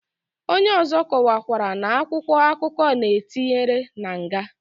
Onye ozo kowara na akwụkwọ akụkọ na etinyere na nga.